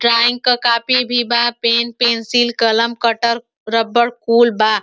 drawing के copy भी बा पेन पेंसिल कलम कटर रबड़ कुल बा --